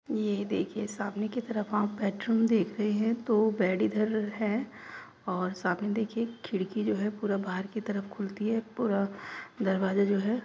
यह देखिए सामने की तरह आप बेडरूम देख रहे हैं | तो बेड इधर है और सामने देखिए एक खिड़की जो है पूरा बाहर की तरफ खुलती है | पूरा दरवाजा जो है --